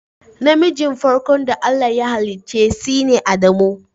Na mijin farko da Allah ya hallice sine Adamu.